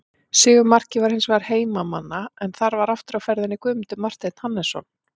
Sigurmarkið var hins vegar heimamanna en þar var aftur á ferðinni Guðmundur Marteinn Hannesson.